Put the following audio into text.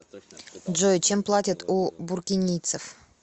джой чем платят у буркинийцев